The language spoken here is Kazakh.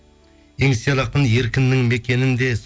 еңсер ақын еркіннің мекенінде